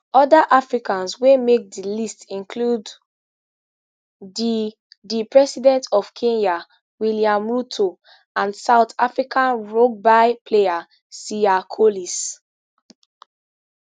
oda africans wey make di list include di the president of kenya william ruto and south african rugby player siya kolis